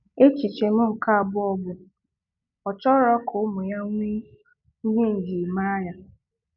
Echiche m nke abụọ bụ "Ọ chọrọ ka ụmụ ya nwee ihe njirimara ya."